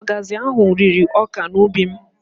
Ọgazị ahụ rịrị ọka n'ubi m